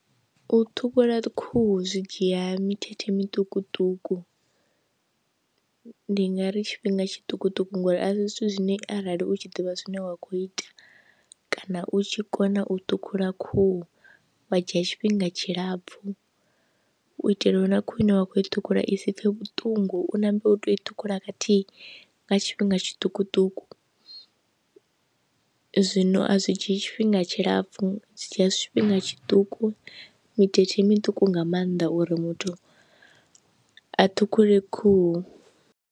U ṱhukhula khuhu zwi dzhia mithethe muṱukuṱuku ndi nga ri tshifhinga tshiṱukuṱuku ngori a si zwithu zwine arali u tshi ḓivha zwine wa kho ita kana u tshi kona u thukhula khuhu wa dzhia tshifhinga tshilapfu, u itela uri na khwine wa kho i ṱhukhula i si pfe vhuṱungu na mbeu u tea u i ṱhukhula khathihi nga tshifhinga tshiṱukuṱuku. Zwino a zwi dzhiyi tshifhinga tshilapfu zwi dzhia tshifhinga tshiṱuku mithethe miṱuku nga maanḓa uri muthu a ṱhukhule khuhu.